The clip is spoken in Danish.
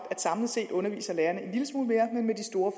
at samlet set underviser lærerne en lille smule mere men med store